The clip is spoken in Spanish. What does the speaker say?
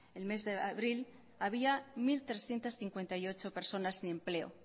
el mes de abril había mil trescientos cincuenta y ocho personas sin empleo